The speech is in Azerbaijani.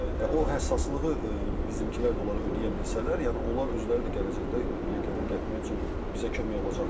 Və o həssaslığı bizimkilər də onlara ödəyə bilsələr, yəni onlar özləri də gələcəkdə legioner gətirmək üçün bizə kömək olacaqlar.